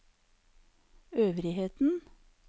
øvrigheten